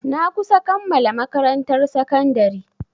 Na kusa kammala makarantar sakandari.